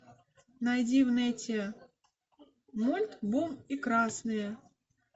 найди в инете мульт бум и красные